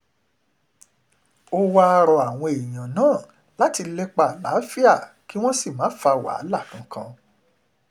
ó wáá rọ àwọn èèyàn náà láti lépa àlàáfíà kí wọ́n sì ńmà fa wàhálà kankan